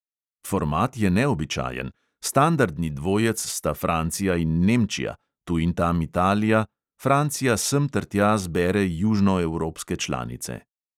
Format je neobičajen: standardni dvojec sta francija in nemčija, tu in tam italija; francija semtertja zbere južnoevropske članice.